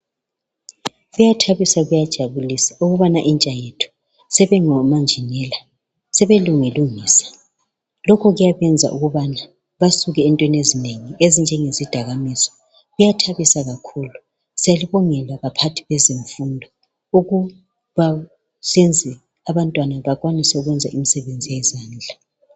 Kuyathabisa kuyajabulisa ukubana intsha yethu sebengomanjinela sebelungilungisa lokho kuyabenza ukubana basuke entweni ezinengi ezinjengezidakamizwa. Kuyathabisa kakhulu. Siyalibongela baphathi bezemfundo ukuba senze abantwana bakwanise ukwenza imisebenzi yezandla.